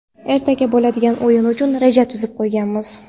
Ertaga bo‘ladigan o‘yin uchun reja tuzib qo‘yganmiz.